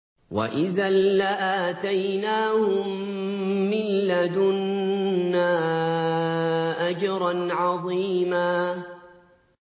وَإِذًا لَّآتَيْنَاهُم مِّن لَّدُنَّا أَجْرًا عَظِيمًا